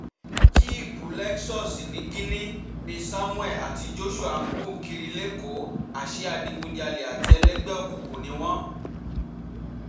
jíìpù lexus niginni ni samuel àti joshua ń gùn kiri lẹ́kọ̀ọ́ àṣẹ adigunjalè àti ẹlẹgbẹ́ òkùnkùn ni wọ́n